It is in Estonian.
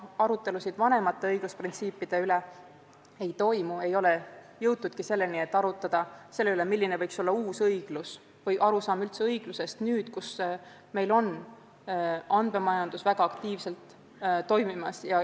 Arutelusid vanemate õigusprintsiipide üle peaaegu ei toimu ega ole jõutud selleni, et arutada, milline võiks olla uus õiglus või arusaam üldse õiglusest nüüd, mil andmemajandus väga aktiivselt toimib.